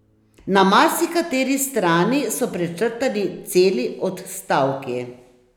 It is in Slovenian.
Na marsikateri strani so prečrtani celi odstavki.